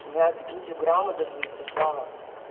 бля прикиньте грама даже не сожрала